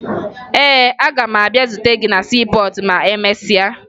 Ee, aga m abịa zute gị na siipọọtụ ma emesịa